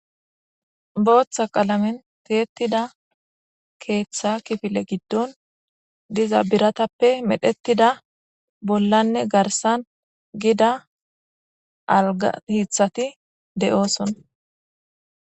booththa qalamen teettida keeththa kifile giddon diza biratappe medhettida bollanne garsan gida alga hiithati de7ooson